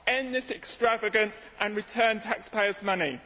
End this extravagance and return taxpayers' money.